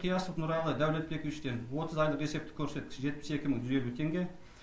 қиясов нұралы дәулетбековичтен отыз айлық есептік көрсеткіш жетпіс екі мың жүз елу теңге